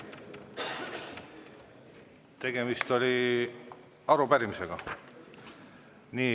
Tegemist oli arupärimisega.